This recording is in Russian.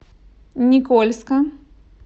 никольска